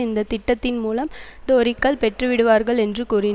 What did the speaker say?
இந்த திட்டத்தின் மூலம் டோரிக்கள் பெற்றுவிடுவார்கள் என்று கூறின்